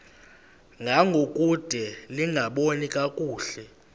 ngangokude lingaboni kakuhle